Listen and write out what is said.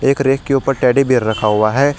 एक रैक के ऊपर टेडी बेयर रखा हुआ है।